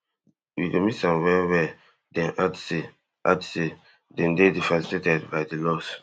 we go miss am well well dem add say add say dem dey devastated by di loss